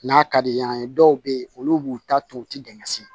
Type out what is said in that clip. N'a ka di yan dɔw bɛ ye olu b'u ta to u tɛ dɛmɛ si